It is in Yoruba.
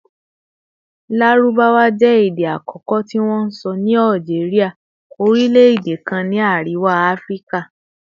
Larubawa jẹ ede akọkọ ti wonsọ ni Algeria, orilẹ-ede kan ni Ariwa Afirika